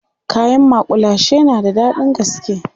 kayan makullashe na da daɗin gaske